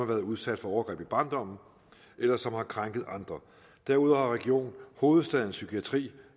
været udsat for overgreb i barndommen eller som har krænket andre derudover har region hovedstadens psykiatri